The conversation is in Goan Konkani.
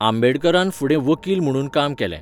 आंबेडकरान फुडें वकील म्हुणून काम केलें.